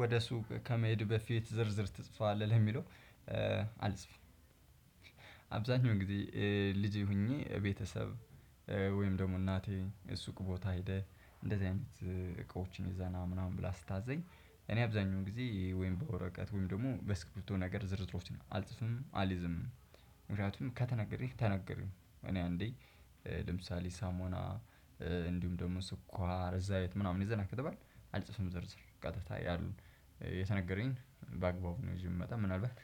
ወደ ሱቅ ከመሄድ በፊት ዝርዝር ትጽፋለህ ለሚለው? አልጽፍም። አብዛኛው ጊዜ ልጅ ሆኜ ቤተሰብ ወይም ደግሞ እናቴ እሱቅ ቦታ ሄደህ እንደዚህ አይነት እቃዎችን ይዘህና ምናምን ብላ ስታዘኝ እኔ አብዛኛውን ጊዜ ወይም በወረቀት ወይም ደግሞ በስክርፕቶ ነገር ዝርዝሮችን አልጽፍም አልይዝምም። ምክንያቱም ከተነገረህ ተነገረህ እኔ አንዴ ለምሳሌ ሳሞና እንዲሁም ደግሞ ስኳር ዘይት አይነት ምናምን ይዘህና ከተባልኩ አልጽፍም ዝርዝር ቀጥታ ያሉን የተነገረኝ ባግባቡ ነው። ይዤ የምመጣ ምናልባት